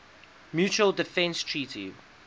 mutual defense treaty